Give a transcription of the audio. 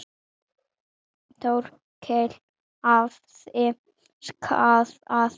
Þórkell hafði skaðað.